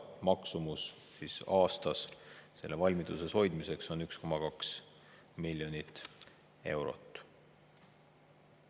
Maksumus aastas selle valmiduses hoidmiseks on 1,2 miljonit eurot.